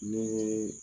Ne